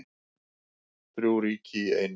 Þrjú ríki í einu